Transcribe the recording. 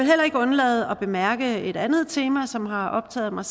heller ikke undlade at bemærke et andet tema som har optaget mig